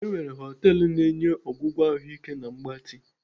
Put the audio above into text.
E nwere họtelu na-enye ọgwụgwọ ahụike na mgbatị.